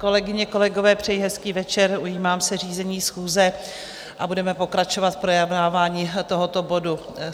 Kolegyně, kolegové, přeji hezký večer, ujímám se řízení schůze a budeme pokračovat v projednávání tohoto bodu.